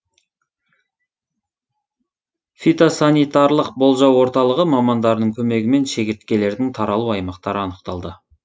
фитосанитарлық болжау орталығы мамандарының көмегімен шегірткелердің таралу аймақтары анықталды